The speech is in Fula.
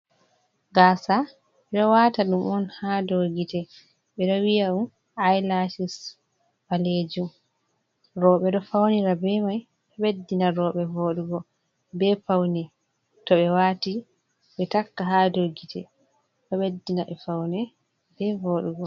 Gasa, ɓe ɗo wataɗum'on ha dou gite, ɓe ɗo.wi'aɗum ai Lacis, ɓalejum rouɓe ɗon faunira be mai, ɓeddima rouɓe voɗugo be p Paune to ɓe wati, ɓe takka hadou gite, ɗo ɓeddinaɓe Faune be Voɗugo.